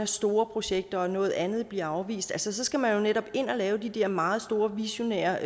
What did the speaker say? store projekter noget andet bliver afvist altså man skal jo netop ind og lave de der meget store visionære